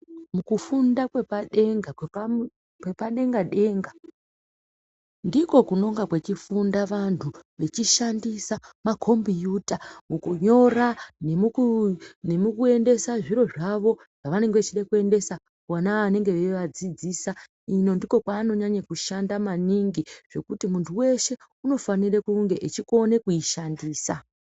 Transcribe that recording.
Mukufunda kwepadenga kwepadenga-denga, ndiko kunonga kwechifunda vanthu vechishandisa makombiyuta mukunyora, nemukuendesa zviro zvavo zvavanenge vechida kuendesa kuvona vanonga veivadzidzisa, ino ndiko kwaanoshanda maningi ngekuti munthu weshe unofanira kunge eikona kuishandisa.